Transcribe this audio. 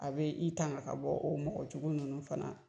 A bɛ i tanka ka bɔ o mɔgɔjugu ninnu fana.